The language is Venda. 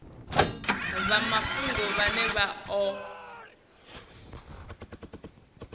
vha mafhungo vhane vha o